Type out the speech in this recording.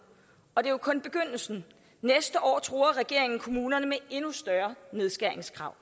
og det er jo kun begyndelsen næste år truer regeringen kommunerne med endnu større nedskæringskrav